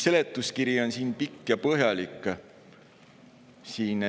Seletuskiri on pikk ja põhjalik.